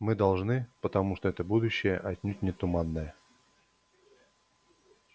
мы должны потому что это будущее отнюдь не туманное